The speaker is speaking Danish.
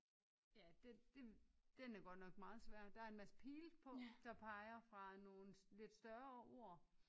Ja det den er godt nok meget svær der er en masse pile på der peger fra nogle lidt større ord